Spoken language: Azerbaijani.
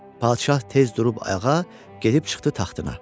Padşah tez durub ayağa, gedib çıxdı taxtına.